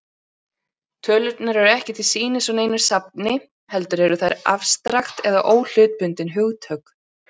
Tölurnar eru ekki til sýnis á neinu safni, heldur eru þær afstrakt eða óhlutbundin hugtök.